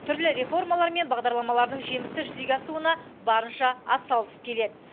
түрлі реформалар мен бағдарламалардың жемісті жүзеге асуына барынша атсалысып келеді